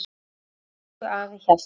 Elsku afi Hjalti.